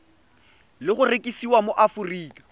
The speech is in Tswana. le go rekisiwa mo aforika